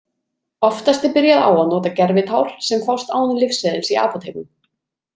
Oftast er byrjað á að nota gervitár sem fást án lyfseðils í apótekum.